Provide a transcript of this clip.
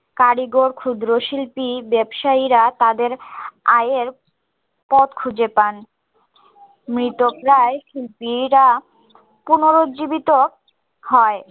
কারিগর ক্ষুদ্র শিল্পী ব্যাবসায়ীরা তাদের আয়ের পথ খুঁজে পান মৃত প্রায় শিল্পীরা পূনর্জীবিত হয়